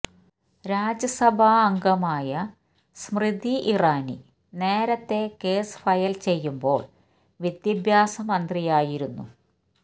രാജ്യസഭാംഗമായ സ്മൃതി ഇറാനി നേരത്തെ case file ചെയ്യുമ്പോള് വിദ്യാഭ്യാസ മന്ത്രിയായിരുന്നു